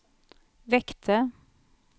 väckte